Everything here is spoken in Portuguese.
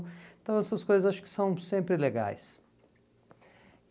Então essas coisas acho que são sempre legais.